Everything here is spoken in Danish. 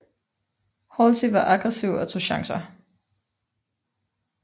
Halsey var aggressiv og tog chancer